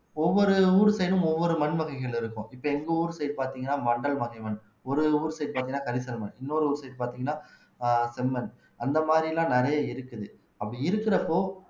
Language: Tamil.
ஒவ்வொரு ஊர் side ம் ஒவ்வொரு மண் வகைகள் இருக்கும் இப்ப எங்க ஊர் side பாத்தீங்கன்னா மண்டல் வகை மண் ஒரு ஒரு ஊர் side பாத்தீங்கன்னா கரிசல்மன் இன்னொரு ஊர் side பாத்தீங்கன்னா செம்மண் அந்த மாதிரி எல்லாம் நிறைய இருக்குது அப்படி இருக்கிறப்போ